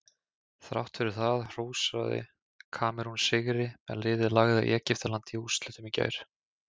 Þrátt fyrir það hrósaði Kamerún sigri en liðið lagði Egyptaland í úrslitum í gær.